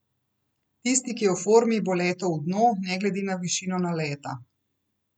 Tisti, ki je v formi, bo letel v dno, ne glede na višino naleta.